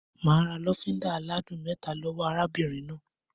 Mà á ra lọ́fíńdà aládùn mẹ́ta lọ́wọ́ arábìnrin náà.